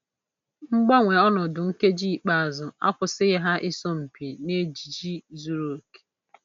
Mgbanwe ọnọdụ nkeji ikpeazụ akwụsịghị ha ịsọ mpi n'ejiji zuru oke.